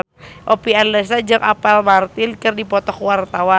Oppie Andaresta jeung Apple Martin keur dipoto ku wartawan